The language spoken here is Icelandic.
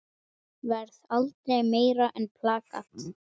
Varð aldrei meira en plakat.